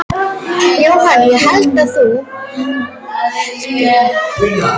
Jóhanna: Og heldur þú að þjóðin verði sammála þér?